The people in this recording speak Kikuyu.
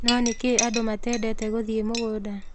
No nĩkĩĩ andũ matendete gũthiĩ mũgũnda?